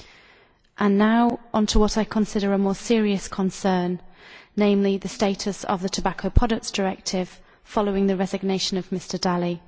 I will now move on to what I consider a more serious concern namely the status of the Tobacco Products Directive following the resignation of Mr Dalli.